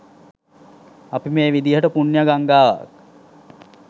අපි මේ විදිහට පුණ්‍ය ගංගාවක්